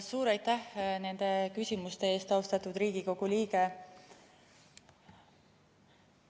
Suur aitäh nende küsimuste eest, austatud Riigikogu liige!